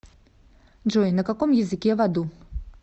джой на каком языке в аду